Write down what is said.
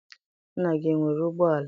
Nna gị enwere ụgbọala?